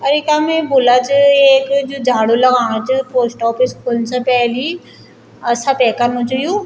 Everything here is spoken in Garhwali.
अ इखम ये भुल्ला च येक जू झाडू लगाणु च पोस्ट ऑफिस खुन से पैलि अ सपे कनु च युं।